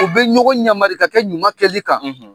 U bɛ ɲɔgɔn yamari ka kɛ ɲuman kɛli kan.